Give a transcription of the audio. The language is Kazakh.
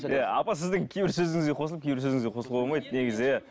иә апа сіздің кейбір сөзіңізге қосылып кейбір сөзіңізге қосылуға болмайды негізі иә